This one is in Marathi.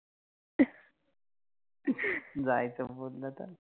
जायच बोललं तर